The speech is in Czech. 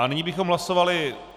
A nyní bychom hlasovali...